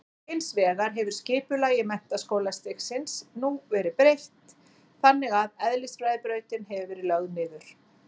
Hins vegar hefur skipulagi menntaskólastigsins nú verið breytt þannig að eðlisfræðibrautin hefur verið lögð niður.